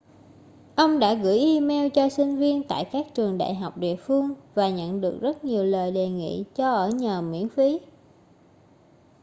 ông đã gửi email cho sinh viên tại các trường đại học địa phương và nhận được rất nhiều lời đề nghị cho ở nhờ miễn phí